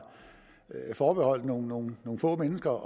forbeholdt nogle nogle få mennesker